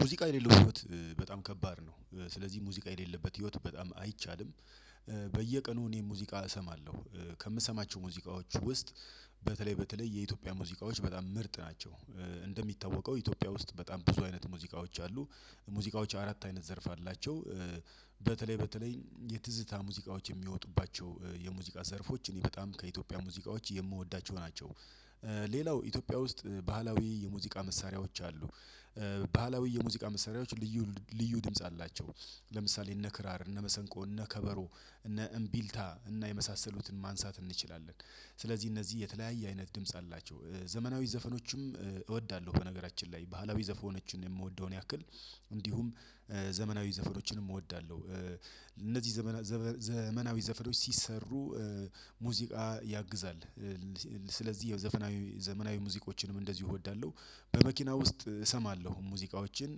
ሙዚቃ የሌለው ህይወት በጣም ከባድ ነው። ስለዚህ ሙዚቃ የሌለበት ህይወት በጣም አይቻልም። በየቀኑ እኔ ሙዚቃ እሰማለሁ። ከምሰማቸው ሙዚቃዎች ውስጥ በተለይ በተለይ የኢትዮጵያ ሙዚቃዎች በጣም ምርጥ ናቸው። እንደሚታወቀው ኢትዮጵያ ውስጥ በጣም ብዙ አይነት ሙዚቃዎች አሉ። ሙዚቃዎች አራት አይነት ዘርፍ አላቸው። በተለይ በተለይ የትዝታ ሙዚቃዎች የሚወጡባቸው የሙዚቃ ዘርፎች እኔ በጣም ከኢትዮጵያ ሙዚቃዎች የምወዳቸው ናቸው። ሌላው ኢትዮጵያ ውስጥ ባህላዊ የሙዚቃ መሳሪያዎች አሉ። ባህላዊ የሙዚቃ መሳሪያዎች ልዩ ልዩ ድምጽ አላቸው። ለምሳሌ እነ ክራር እነ መሰንቆ እነ ከበሮ እነ እምቢልታ እና የመሳሰሉትን ማንሳት እንችላለን። ስለዚህ እነዚህ የተለያየ አይነት ድምጽ አላቸው። ዘመናዊ ዘፈኖችም እወዳለሁ በነገራችን ላይ ባህላዊ ዘፎኖችን እምወደውን ያክል እንዲሁም ዘመናዊ ዘፈኖችንም እወዳለሁ። እነዚህ ዘመና ዘመናዊ ዘፈኖች ሲሰሩ ሙዚቃ ያግዛል። ስለዚህ ዘፈናዊ ዘመናዊ ሙዚቃዎችንም እንደዚሁ እወዳለሁ። በመኪና ውስጥ እሰማለሁ ሙዚቃዎችን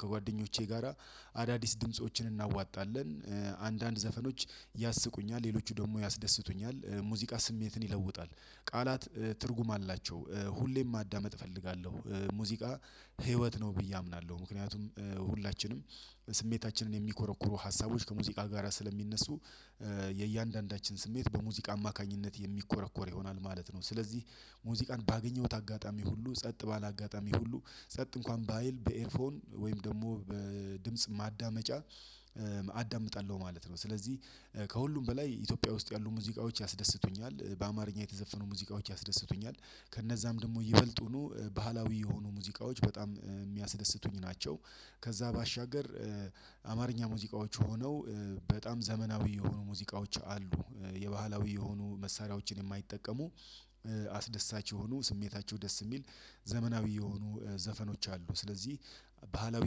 ከጓደኞቼ ጋራ አዳዲስ ድምፆችን እናዋጣለን። አንዳንድ ዘፈኖች ያስቁኛል ሌሎች ደግሞ ያስደስቱኛል ሙዚቃ ስሜትን ይለውጣል። ቃላት ትርጉም አላቸው። ሁሌም ማዳመጥ እፈልጋለሁ። ሙዚቃ ህይወት ነው ብዬ አምናለሁ። ምክንያቱም ሁላችንም ስሜታችንን የሚኮረኩሩ ሀሳቦች ከሙዚቃ ጋራ ስለሚነሱ። የእያንዳንዳችን ስሜት በሙዚቃ አማካኝነት የሚኮረኮር ይሆናል ማለት ነው። ስለዚህ ሙዚቃን ባገኘሁት አጋጣሚ ሁሉ ጸጥ ባለ አጋጣሚ ሁሉ ጸጥ እንኳን ባይል በኤርፎን ወይም ደግሞ በድምጽ ማዳመጫ። አዳምጣለሁ ማለት ነው። ስለዚህ ከሁሉም በላይ ኢትዮጵያ ውስጥ ያሉ ሙዚቃዎች ያስደስቱኛል በአማርኛ የተዘፈኑ ሙዚቃዎች ያስደስቱኛል። ከነዛም ደግሞ ይበልጡኑ ባህላዊ የሆኑ ሙዚቃዎች በጣም እሚያስደስቱኝ ናቸው። ከዛ ባሻገር አማርኛ ሙዚቃዎች ሆነው በጣም ዘመናዊ የሆኑ ሙዚቃዎች አሉ። የባህላዊ የሆኑ መሳሪያዎችን የማይጠቀሙ አስደሳች የሆኑ ስሜታቸው ደስ እሚል። ዘመናዊ የሆኑ ዘፈኖች አሉ ስለዚህ ባህላዊ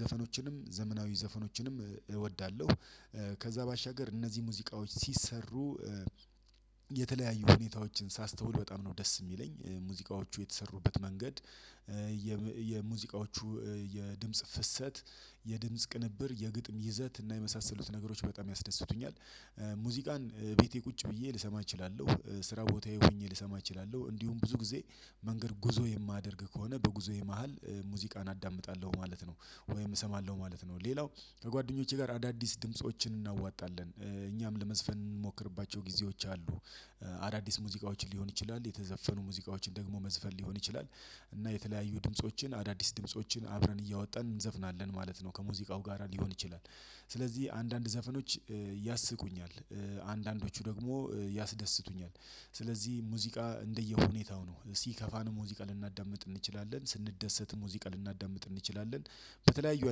ዘፈኖችንም ዘመናዊ ዘፈኖችንም እወዳለሁ። ከዛ ባሻገር እነዚህ ሙዚቃዎች ሲሰሩ የተለያዩ ሁኔታዎችን ሳስተውል በጣም ነው ደስ እሚለኝ ሙዚቃዎቹ የተሰሩበት መንገድ። የሙዚቃዎቹ የድምጽ ፍሰት የድምጽ ቅንብር የግጥም ይዘት እና የመሳሰሉት ነገሮች በጣም ያስደስቱኛል። ሙዚቃን ቤቴ ቁጭ ብዬ ልሰማ እችላለሁ። ስራ ቦታዬ ሆኜ ልሰማ እችላለሁ እንዲሁም ብዙ ጊዜ መንገድ ጉዞ የማደርግ ከሆነ በጉዞዬ መሃል ሙዚቃን አዳምጣለሁ ማለት ነው። ወይም እሰማለሁ ማለት ነው። ሌላው ከጓደኞቼ ጋር አዳዲስ ድምፆችን እናዋጣለን እኛም ለመዝፈን ምንሞክርባቸው ጊዜዎች አሉ። አዳዲስ ሙዚቃዎችን ሊሆን ይችላል የተዘፈኑ ሙዚቃዎችን ደግሞ መዝፈር ሊሆን ይችላል። እና የተለያዩ ድምፆችን አዳዲስ ድምፆችን አብረን እያወጣን እንዘፍናለን ማለት ነው ከሙዚቃው ጋራ ሊሆን ይችላል። ስለዚህ አንዳንድ ዘፈኖች ያስቁኛል። አንዳንዶቹ ደግሞ ያስደስቱኛል። ስለዚህ ሙዚቃ እንደየሁኔታው ነው ሲከፋን ሙዚቃ ልናዳምጥ እንችላለን ስንደሰት ሙዚቃ ልናዳምጥ እንችላለን። በተለያዩ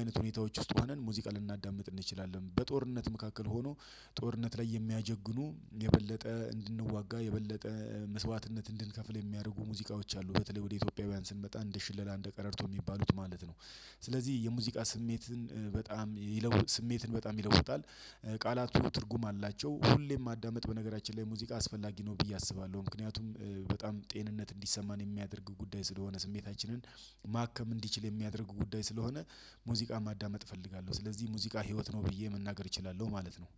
አይነት ሁኔታዎች ውስጥ ሆነን ሙዚቃ ልናዳምጥ እንችላለን በጦርነት መካከል ሆኖ ጦርነት ላይ የሚያጀግኑ የበለጠ እንድንዋጋ የበለጠ መስዋዕትነት እንድንከፍል የሚያደርጉ ሙዚቃዎች አሉ በተለይ ወደ ኢትዮጵያውያን ስንመጣ እንደ ሽለላ እንደ ቀረርቶ እሚባሉት ማለት ነው። ስለዚህ የሙዚቃ ስሜትን በጣም ይለውጥ ስሜትን በጣም ይለውጣል። ቃላቱ ትርጉም አላቸው ሁሌም ማዳመጥ በነገራችን ላይ ሙዚቃ አስፈላጊ ነው ብዬ አስባለሁ። ምክንያቱም በጣም ጤንነት እንዲሰማን የሚያደርግ ጉዳይ ስለሆነ ስሜታችንን ማከም እንዲችል የሚያደርግ ጉዳይ ስለሆነ። ሙዚቃ ማዳመጥ እፈልጋለሁ ስለዚህ ሙዚቃ ህይወት ነው ብዬ መናገር እችላለሁ ማለት ነው።